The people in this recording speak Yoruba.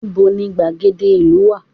Níbo ni gbàgede ìlú wá?